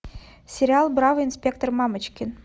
сериал бравый инспектор мамочкин